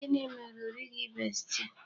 Gịnị mere o righi besti?